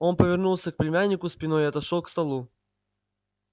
он повернулся к племяннику спиной и отошёл к столу